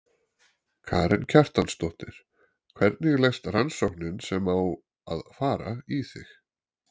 Karen Kjartansdóttir: Hvernig leggst rannsóknin sem á að fara í þig?